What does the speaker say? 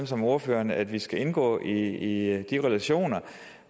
som ordføreren at vi skal indgå i de relationer